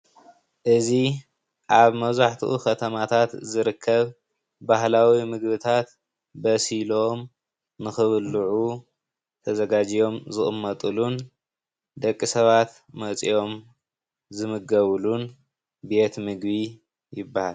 እዚ ኣብ መብዛሕትኡ ከተማታት ዝርከብ ባህላዊ ምግቢታት በሲሎም ንክብልዑ ተዘጋጅዮም ዝቅመጥሉን ደቂ ሰባት መፅኦም ዝምገብሉን ቤት ምግቢ ይባሃል፡፡